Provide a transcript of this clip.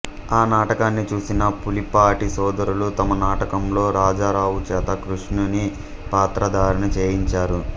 ఆనాటకాన్ని చూసిన పులిపాటి సోదరులు తమ నాటకంలో రాజారావుచేత కృషుని పాత్రధారణ చేయించారు